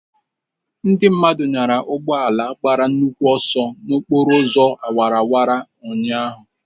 Ndị mmadụ nyara ugbo ala agbara nnukwu ọsọ n'okporo ụzọ awara awara ụnyahụ.